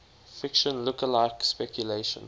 fiction lookalike speculation